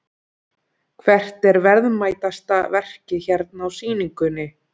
Hvert er verðmætasta verkið hérna á sýningunni?